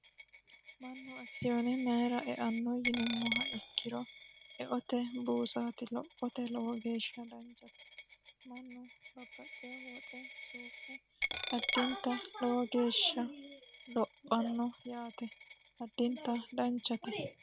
Mannu akisiyoone mayiira eanno yinumoha ikkiro eote buusati lophote lowo geeshsha danchate mannu babbaxewoo woxe suuqe addinta lowo geeshsha lophano yaate addinta danchate.